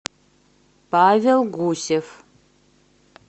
павел гусев